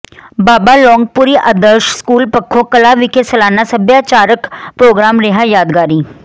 ਬਾਬਾ Longpuri Adarsh school Pakho Kalan ਵਿਖੇ ਸਾਲਾਨਾ ਸੱਭਿਆਚਾਰਕ ਪ੍ਰੋਗਰਾਮ ਰਿਹਾ ਯਾਦਗਾਰੀ